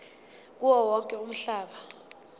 kuwo wonke umhlaba